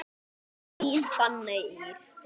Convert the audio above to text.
Þín Fanney Ýr.